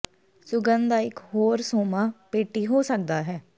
ਸੁਗੰਧ ਦਾ ਇਕ ਹੋਰ ਸੋਮਾ ਪੇਟੀ ਹੋ ਸਕਦਾ ਹੈ